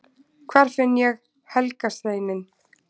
hvar finn ég „helga steininn“!